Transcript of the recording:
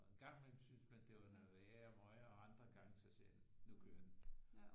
Og en gang imellem syntes man det var noget værre møg og andre gange så sagde den nu kører den